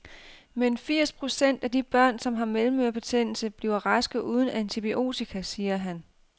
Men firs procent af de børn, som har mellemørebetændelse, bliver raske uden antibiotika, siger han.